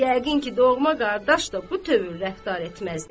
Yəqin ki, doğma qardaş da bu tövr rəftar etməzdi.